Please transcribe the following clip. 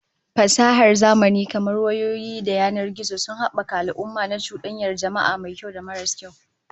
Fasahar zamani kamar wayoyi da yanar gizo sun habaka al'amurra na cudanyar jama'a, mai kyau da maras kyau